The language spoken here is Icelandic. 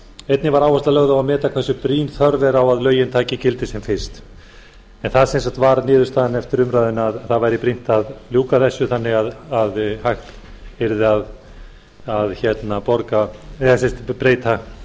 einnig var áhersla lögð á að meta hversu brýn þörf er á að lögin taki gildi sem fyrst það varð sem sagt niðurstaðan eftir umræðuna að það væri brýnt að ljúka þessu þannig að hægt yrði að breyta